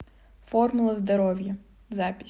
формула здоровья запись